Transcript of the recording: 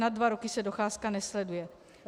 Nad dva roky se docházka nesleduje.